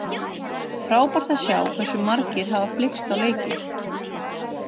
Frábært að sjá hversu margir hafa flykkst á leikinn.